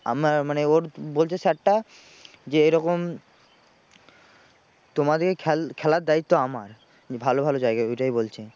আমরা মানে ওর বলছে sir টা যে এরকম তোমাদের খেল খেলার দায়িত্ব আমার উনি ভালো ভালো জায়গায় ওটাই বলছেন।